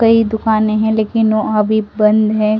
कई दुकानें हैं लेकिन वो अभी बंद है।